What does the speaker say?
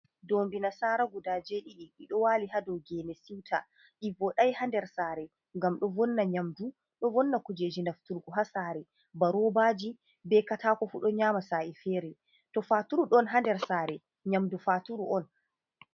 Doombi nasara guda jeeɗiɗi. Ɗiɗo waali haa dou gene siwta. Ɗi voɗai haa nder saare, ngam ɗo vonna nyamdu, ɗo vonna kujeji nafturgu haa saare, ba roobaji be katako fu ɗo nyama sa’e fere. To faturu ɗon haa nder saare, nyamdu faturu on.